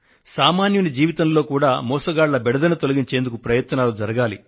సామాన్యుని జీవితంలో కూడా మోసగాళ్ల బెడదను తొలగించేందుకు ప్రయత్నాలు జరగాలి